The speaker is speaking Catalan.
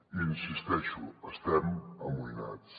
hi insisteixo estem amoïnats